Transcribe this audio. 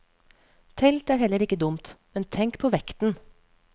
Telt er heller ikke dumt, men tenk på vekten.